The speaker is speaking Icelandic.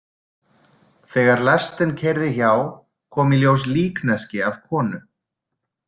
Þegar lestin keyrði hjá kom í ljós líkneski af konu.